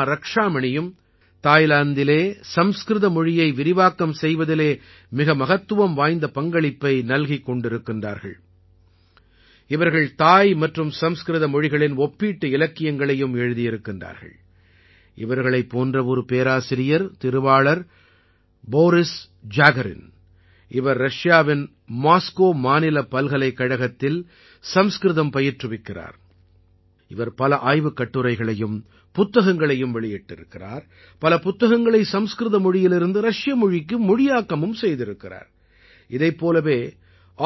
कुसुमारक्षामणि ये दोनों தைலண்ட் में संस्कृत भाषा के प्रचारप्रसार में बहुत महत्वपूर्ण भूमिका निभा रहे हैं | उन्होंने थाई और संस्कृत भाषा में तुलनात्मक साहित्य की रचना भी की है | ऐसे ही एक प्रोफेसर है श्रीमान बोरिसजाखरिन ரஷ்யா में மோஸ்கோவ் ஸ்டேட் யூனிவர்சிட்டி में ये संस्कृत पढ़ाते हैं |उन्होंने कई शोध पत्र और पुस्तकें प्रकाशित की हैं | उन्होंने कई पुस्तकों का संस्कृत से रुसी भाषा में अनुवाद भी किया है | इसी तरह சிட்னி சன்ஸ்கிரித் ஸ்கூல்